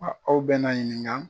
aw bɛn'a ɲininka